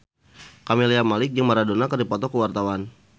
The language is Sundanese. Camelia Malik jeung Maradona keur dipoto ku wartawan